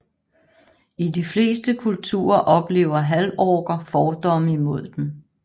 I de fleste kulturer oplever halvorker fordomme imod dem